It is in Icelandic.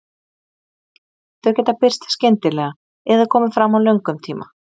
Þau geta birst skyndilega eða komið fram á löngum tíma.